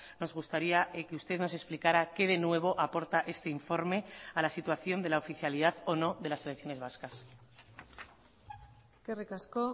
nos gustaría que usted nos explicara qué de nuevo aporta este informe a la situación de la oficialidad o no de las selecciones vascas eskerrik asko